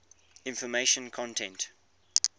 information content